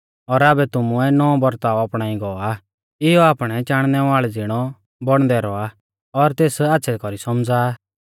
और आबै तुमुऐ नौंवौ बरताव अपणाई गौ आ इयौ आपणै चाणनै वाल़ै ज़िणौ बौणदै रौआ और तेस आच़्छ़ै कौरी सौमझ़ा आ